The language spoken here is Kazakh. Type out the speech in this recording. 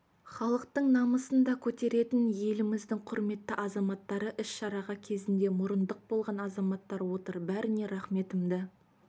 халықтың намысын да көтеретін еліміздің құрметті азаматтары іс-шараға кезінде мұрындық болған азаматтар отыр бәріне рахметімді